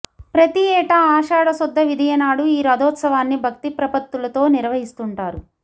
ప్రతిఏటా ఆషాడ శుద్ధ విదియనాడు ఈ రథోత్సవాన్ని భక్తిప్రపత్తులతో నిర్వహిస్తుంటారు